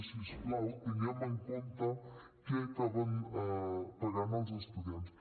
si us plau tinguem en compte què acaben pagant els estudiants